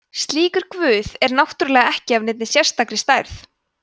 slíkur guð er náttúrulega ekki af neinni sérstakri stærð